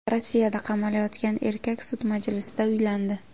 Rossiyada qamalayotgan erkak sud majlisida uylandi.